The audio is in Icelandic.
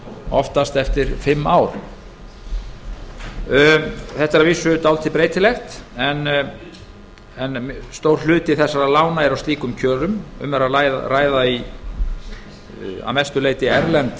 oftast eftir fimm ár þetta er að vísu dálítið breytilegt en stór hluti þessara lána eru á slíkum kjörum um er að ræða að mestu leyti erlend